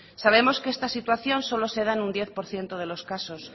sabemos que esta situación solo se da en un diez por ciento de los casos